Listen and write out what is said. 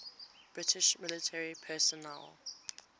british military personnel